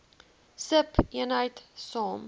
sub eenheid saam